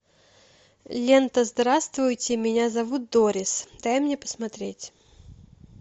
лента здравствуйте меня зовут дорис дай мне посмотреть